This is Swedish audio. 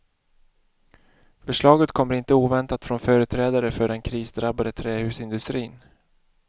Förslaget kommer inte oväntat från företrädare för den krisdrabbade trähusindustrin.